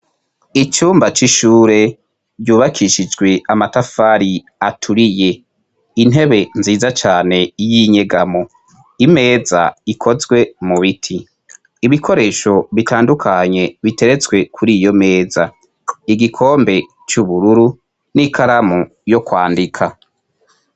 Icumba c'ishure ryubakishijwe amatafari aturiye. Intebe nziza cane y'inyegamo, imeza ikozwe mu biti. Ibikoresho bitandukanye biteretswe kur'iyo meza. Igikombe c'ubururu n'ikaramu yo kwandika.